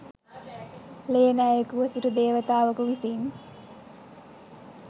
ලේ නෑයෙකුව සිටි දේවතාවකු විසින්